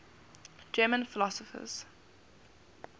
german philosophers